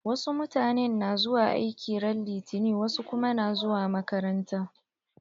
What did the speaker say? Wasu mutanen na zuwa aiki ran litani wasu kuma na zuwa makaranta.